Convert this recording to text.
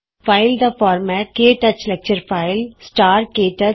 file ਦਾ format ਕੇ touch lecture file ਸਟਾਰਕੇ ਟੱਚ